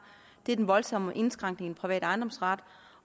er den voldsomme indskrænkning private ejendomsret